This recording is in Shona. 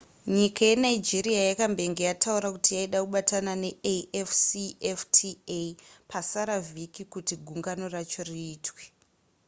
nyika yenigeria yakambenge yataura kuti yaida kubatana neafcfta pasara vhiki kuti gungano racho riitwe